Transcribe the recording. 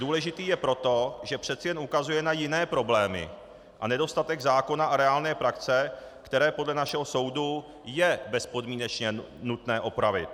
Důležitý je proto, že přeci jen ukazuje na jiné problémy a nedostatek zákona a reálné praxe, které podle našeho soudu je bezpodmínečně nutné upravit.